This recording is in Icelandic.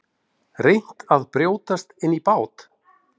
Reynt að brjótast inn í bát